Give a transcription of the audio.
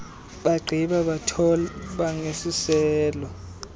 bagqiba bathoba ngeziselo